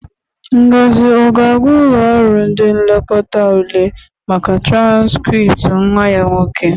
Ngozi ọ ga-aga ụlọ ọrụ ndị nlekọta ule maka transkrịpt nwa ya nwoke?